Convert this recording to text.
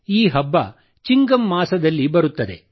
ಈ ಹಬ್ಬ ಚಿಂಗಂ ಮಾಸದಲ್ಲಿ ಬರುತ್ತದೆ